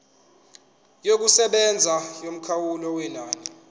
yokusebenza yomkhawulo wenani